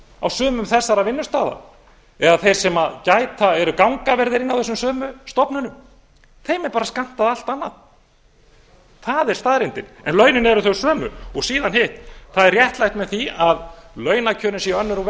á sumum þessara vinnustaða eða þeir sem gæta eru gangavörður inni á þessum sömu stofnum þeim er bara skammtað allt annað það er staðreyndin en launin eru þau sömu síðan hitt það er réttlætt með því að launakjörin séu önnur og